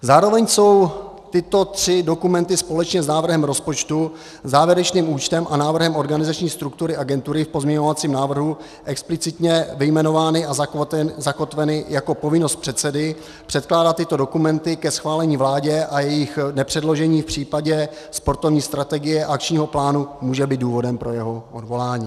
Zároveň jsou tyto tři dokumenty společně s návrhem rozpočtu, závěrečným účtem a návrhem organizační struktury agentury v pozměňovacím návrhu explicitně vyjmenovány a zakotveny jako povinnost předsedy předkládat tyto dokumenty ke schválení vládě a jejich nepředložení v případě sportovní strategie a akčního plánu může být důvodem pro jeho odvolání.